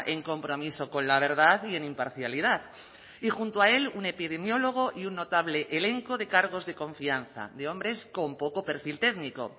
en compromiso con la verdad y en imparcialidad y junto a él un epidemiólogo y un notable elenco de cargos de confianza de hombres con poco perfil técnico